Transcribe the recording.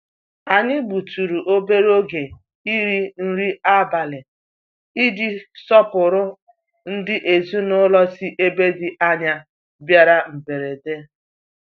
Anyị gbutụrụ obere oge iri nri abalị iji sọpụrụ ndị ezinụlọ sí ebe dị ányá bịara mberede.